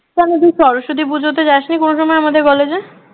কেন তুই সরস্বতী পুজোতে যাসনি কোন সময় আমাদের কলেজে